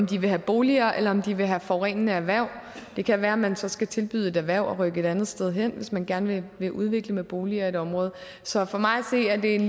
de vil have boliger eller om de vil have forurenende erhverv det kan være at man så skal tilbyde et erhverv at rykke et andet sted hen hvis man gerne vil udvikle med boliger i et område så for mig at se er det en